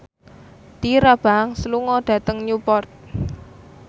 Tyra Banks lunga dhateng Newport